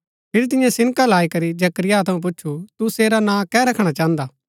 फिरी तिन्यै सिनका लाई करी जकरिया थऊँ पूच्छु तू सेरा नां कै रखणा चाहन्दा